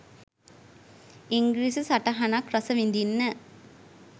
ඉංග්‍රිසි සටහනක් රසවිදින්න.